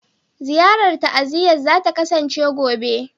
Ziyarar ta'aziyya za ta kasance gobe.